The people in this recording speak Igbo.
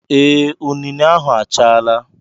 Ee, unine ahụ achaala.